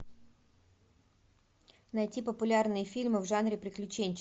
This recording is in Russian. найти популярные фильмы в жанре приключенческий